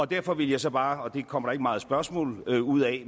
derfor vil jeg så bare og det kommer der ikke meget spørgsmål ud af